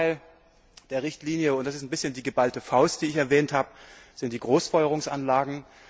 Der zweite Teil der Richtlinie und das ist ein bisschen die geballte Faust, die ich erwähnt habe sind die Großfeuerungsanlagen.